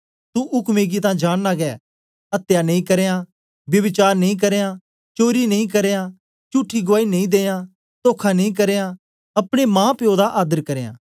तू उक्में गी तां जांनना गै अत्या नी करयां ब्यभिचार नी करयां चोरी नी करयां चुठी गुआई नी दियां तोखा नी करयां अपने मांप्यो दा आदर करयां